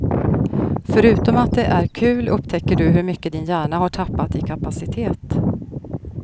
Förutom att det är kul upptäcker du hur mycket din hjärna har tappat i kapacitet.